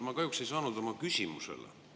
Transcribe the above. Ma kahjuks ei saanud oma küsimusele vastust.